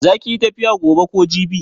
Za kiyi tafiya gobe ko jibi?